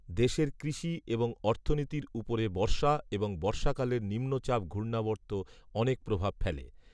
দেশের কৃষি এবং অর্থনীতির উপরে বর্ষা এবং বর্ষাকালের নিম্নচাপ ঘূর্ণাবর্ত অনেক প্রভাব ফেলে